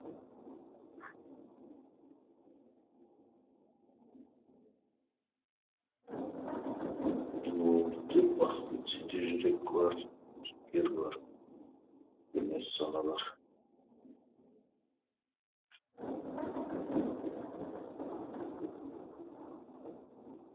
менің ойымды дөп бастың сенде жүрек бар жігер бар өлмес сана бар